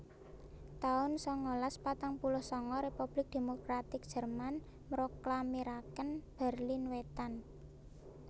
taun sangalas patang puluh sanga Republik Demokratik Jerman mroklamiraken Berlin Wétan